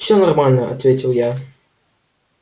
всё нормально ответил я